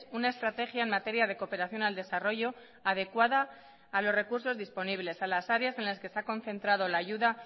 una estrategia en materia de cooperación al desarrollo adecuada a los recursos disponibles a las áreas en las que se ha concentrado la ayuda